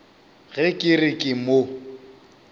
ge ke re ke mo